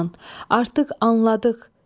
Orxan, artıq anladıq.